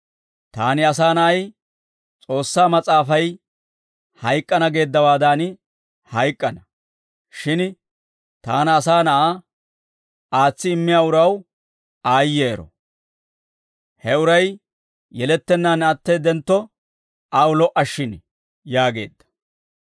Taani, Asaa Na'ay, S'oossaa Mas'aafay hayk'k'ana geeddawaadan hayk'k'ana; shin Taana, Asaa Na'aa, aatsi immiyaa uraw aayyero; he uray yelettennaan atteeddentto aw lo"a shshin» yaageedda.